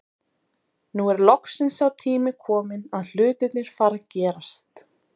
Nú er loksins sá tími kominn að hlutirnir fara að gerast.